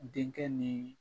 Denkɛ